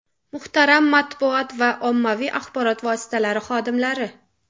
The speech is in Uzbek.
Muhtaram matbuot va ommaviy axborot vositalari xodimlari!